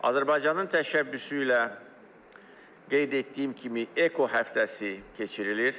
Azərbaycanın təşəbbüsü ilə qeyd etdiyim kimi EKO həftəsi keçirilir.